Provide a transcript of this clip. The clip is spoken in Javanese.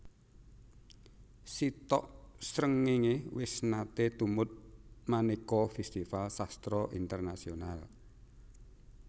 Sitok Srengenge wis nate tumut maneka festival sastra internasional